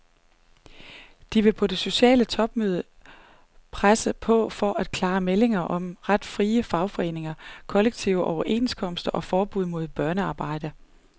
De vil på det sociale topmøde presse på for klare meldinger om ret til frie fagforeninger, kollektive overenskomster og forbud mod børnearbejde.